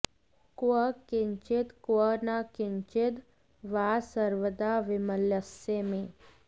क्व किञ्चित् क्व न किञ्चिद् वा सर्वदा विमलस्य मे